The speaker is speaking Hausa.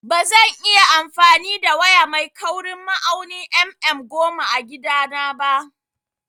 Bazan iya amfani da waya mai kaurin ma'aunin mm goma a gida na ba